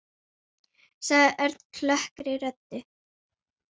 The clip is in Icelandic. sagði Örn klökkri röddu.